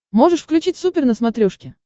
можешь включить супер на смотрешке